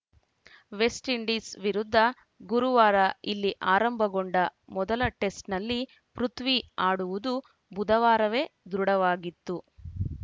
West Indies ವಿರುದ್ಧ ಗುರುವಾರ ಇಲ್ಲಿ ಆರಂಭಗೊಂಡ ಮೊದಲ ಟೆಸ್ಟ್‌ನಲ್ಲಿ ಪೃಥ್ವಿ ಆಡುವುದು ಬುಧವಾರವೇ ದೃಢವಾಗಿತ್ತು